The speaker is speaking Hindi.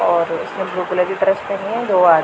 और उसने ब्लू कलर की ड्रेस पहनी है दो आद--